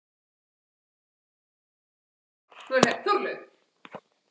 Þórlaug